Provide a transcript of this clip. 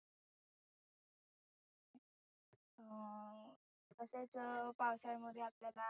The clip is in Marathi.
तसेच पावसाळ्यामध्ये आपल्याला